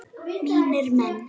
Mínir menn!